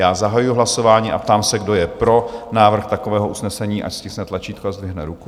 Já zahajuji hlasování a ptám se, kdo je pro návrh takového usnesení, ať stiskne tlačítko a zdvihne ruku.